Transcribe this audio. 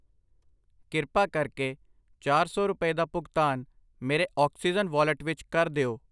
ਕਿਰਪਾ ਕਰਕੇ ਚਾਰ ਸੌ ਰੁਪਏ ਦਾ ਭੁਗਤਾਨ ਮੇਰੇ ਆਕਸੀਜਨ ਵਾਲਟ ਵਿੱਚ ਕਰ ਦਿਓ।